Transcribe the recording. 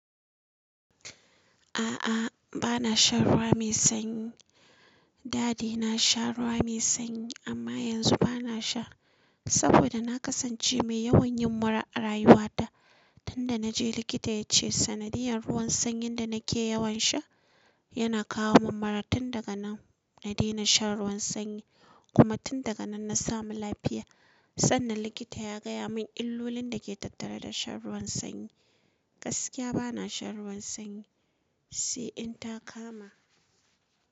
A'a, ba na shan ruwa mai sanyi. Da de na sha ruwa mai sanyi amma yanzu ba na sha saboda na kasance mai yawan yin mura a rayuwa ta. Tun da na je likita ya ce sanadiyan ruwan sanyin da na ke yawan sha yana kawo mun mura. Tun daga nan na daina shan ruwan sanyi kuma tun daga nan na samu lafiya. Sannan likita ya gaya mun illolin da ke tattare da shan ruwan sanyi. Gaskiya ba na shan ruwan sanyi, sai in ta kama.